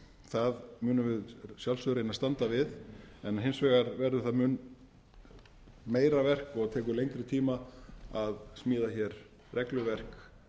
það munum við að sjálfsögðu reyna að standa við en hins vegar verður það mun meira verk og tekur lengri tíma að smíða hér regluverk